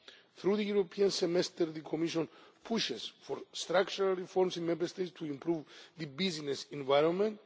Through the European Semester the Commission pushes for structural reforms in Member States to improve the business environment.